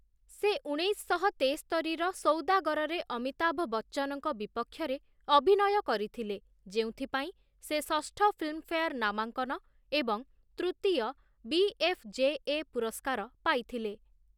ସେ ଉଣେଇଶଶହ ତେସ୍ତରିର ସୌଦାଗରରେ ଅମିତାଭ ବଚ୍ଚନଙ୍କ ବିପକ୍ଷରେ ଅଭିନୟ କରିଥିଲେ, ଯେଉଁଥିପାଇଁ ସେ ଷଷ୍ଠ ଫିଲ୍ମଫେୟାର ନାମାଙ୍କନ ଏବଂ ତୃତୀୟ ବିଏଫ୍‌ଜେଏ ପୁରସ୍କାର ପାଇଥିଲେ ।